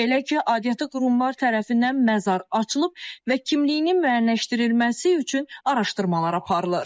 Belə ki, aidiyyatı qurumlar tərəfindən məzar açılıb və kimliyinin müəyyənləşdirilməsi üçün araşdırmalar aparılır.